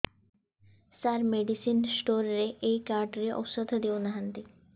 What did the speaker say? ସାର medicine store ରେ ଏଇ card ରେ ଔଷଧ ଦଉନାହାନ୍ତି